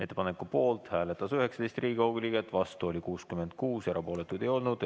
Ettepaneku poolt hääletas 19 Riigikogu liiget, vastu oli 66, erapooletuid ei olnud.